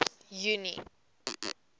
junie